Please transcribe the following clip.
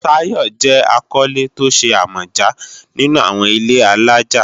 Tayo jẹ́ akọ́lé tó ṣe àmọ̀já nínú àwọn ilé-alájà